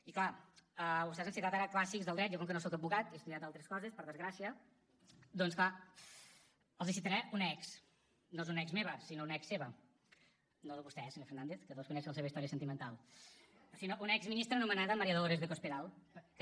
i clar vostès han citat ara clàssics del dret jo com que no soc advocat jo he estudiat altres coses per desgràcia doncs clar els citaré una ex no és una ex meva sinó una ex seva no de vostè eh senyor fernández que desconec la seva història sentimental sinó una exministra anomenada maría dolores de cospedal que deia